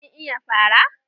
Kin iya fara?